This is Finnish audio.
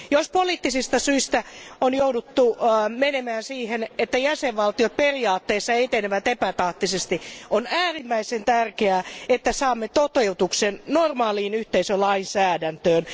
Jos poliittisista syistä on jouduttu menemään siihen, että jäsenvaltiot periaatteessa etenevät epätahtisesti, on äärimmäisen tärkeää, että saamme toteutuksen normaaliin yhteisölainsäädäntöön.